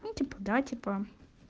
ну типа да типа